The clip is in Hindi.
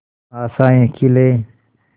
आशाएं खिले